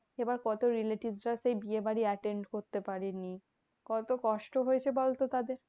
এবার কত relatives রা সেই বিয়েবাড়ি attend করতে পারে নি। কত কষ্ট হয়েছে বলতো তাদের?